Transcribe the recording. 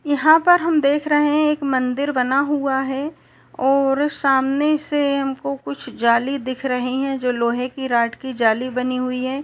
यहां पर हम देख रहे हैं एक मंदिर बना हुआ हैऔर सामने से हमको कुछ जाली दिख रही हैजो लोहे की रोड की जाली बनी हुई है|